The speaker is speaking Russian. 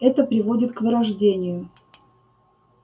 это приводит к вырождению